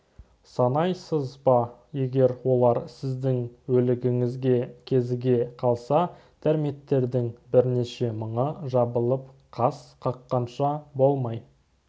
санайсыз ба егер олар сіздің өлігіңізге кезіге қалса термиттердің бірнеше мыңы жабылып қас қаққанша болмай